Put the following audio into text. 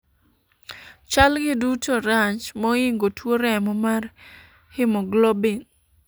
chal gi duto rach moingo tuo remo mar haemoglobin